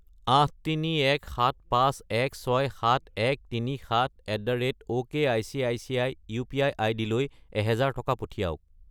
83175167137@okicici UPI. আইডিলৈ 1000 টকা পঠিৱাওক।